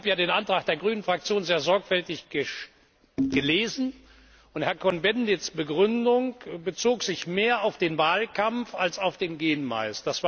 Ich habe den Antrag der grünen Fraktion sehr sorgfältig gelesen, und Herrn Cohn Bendits Begründung bezog sich mehr auf den Wahlkampf als auf den Gen Mais.